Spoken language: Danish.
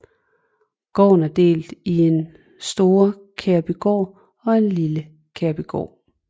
Gården er delt i Store Kærbygård og Lille Kærbygård